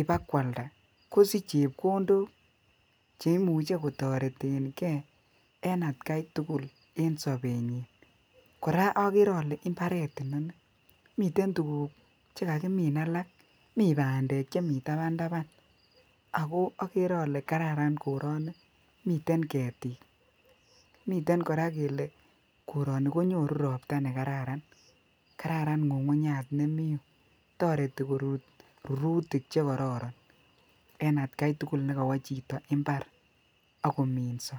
ibo kwalda kosich chepkondok cheimuche kotoreten gee en atgai tukul en sobenyin. Koraa okere ole imbaret inoni miten tukuk chekakimin alak mii pandek chemii taban taban ako okere ole kararan koroni miten ketik miten Koraa kele koroni konyoru ropta nekararan kararan ngungunyat nemii iyuu toreti korut rurutik chekororon en atgai tukul nekowo chito imbar ak kominso.